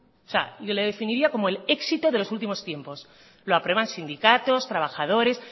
o sea y lo definiría como el éxito de los últimos tiempos lo aprueban sindicatos trabajadores